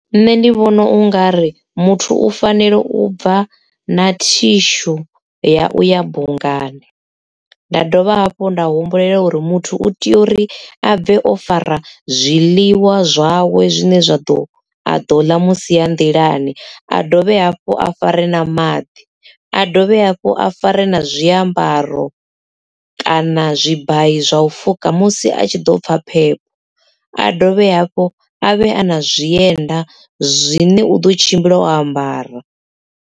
Nṋe ndi vhona ungari muthu u fanela u bva na thishu ya u ya bungani. Nda dovha hafhu nda humbulela uri muthu u tea uri a bve o fara zwiḽiwa zwawe zwine zwa ḓo a ḓo ḽa musi a nḓilani a dovhe hafhu a fare na maḓi a dovhe hafhu a fare na zwiambaro kana zwi bayi zwa u fuka musi a tshi ḓo pfha phepho a dovhe hafhu a vhe a na zwienda zwine u ḓo tshimbila o ambara.